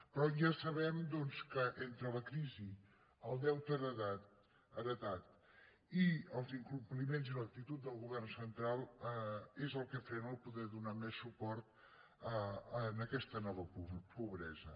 però ja sabem doncs que entre la crisi el deute heretat i els incompliments i l’actitud del govern central és el que frena poder donar més suport a aquesta nova pobresa